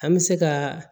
An bɛ se ka